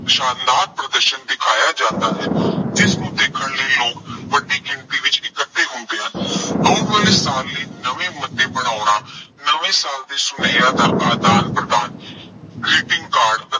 ਸ਼ਾਨਦਾਰ ਪ੍ਰਦਰਸ਼ਨ ਦਿਖਾਇਆਂ ਜਾਂਦਾ ਹੈ। ਜਿਸਨੂੰ ਦੇਖਣ ਲਈ ਲੋਕ ਵੱਡੀ ਗਿਣਤੀ ਵਿੱਚ ਇਕੱਠੇ ਹੁੰਦੇ ਹਨ। ਆਉਣ ਵਾਲੇ ਸਾਲ ਲਈ ਨਵੇਂ ਮੁੱਦੇ ਬਣਾਉਣਾ, ਨਵੇਂ ਸਾਲ ਦੇ ਸੁਨੇਹਿਆਂ ਦਾ ਆਦਾਨ ਪ੍ਰਦਾਨ greeting card